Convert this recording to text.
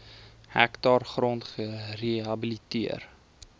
hektaar grond gerehabiliteer